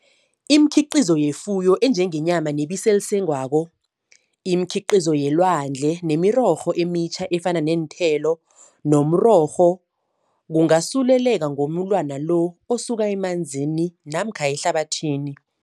Imikhiqizo yefuyo enjengenyama nebisi elisengwako, imikhiqizo yelwandle nemirorho emitjha efana neenthelo nomrorho kungasuleleka ngomulwana lo osuka emanzini namkha ehlabathini.